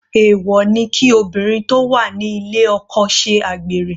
Èwọ̀ ni kí obìnrin tó wà ní ilé oko ṣe àgbèrè.